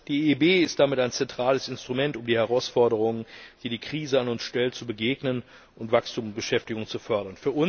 Die EIB ist damit ein zentrales Instrument, um den Herausforderungen, die die Krise an uns stellt, zu begegnen und Wachstum und Beschäftigung zu fördern.